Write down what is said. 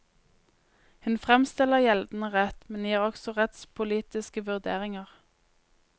Hun fremstiller gjeldende rett, men gir også rettspolitiske vurderinger.